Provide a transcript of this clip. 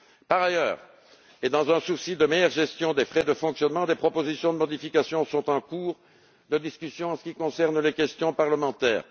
Par ailleurs, et dans un souci de meilleure gestion des frais de fonctionnement, des propositions de modification sont en cours de discussion en ce qui concerne les questions parlementaires.